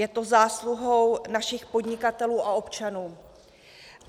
Je to zásluhou našich podnikatelů a občanů.